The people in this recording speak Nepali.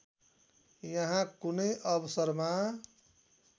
यहाँ कुनै अवसरमा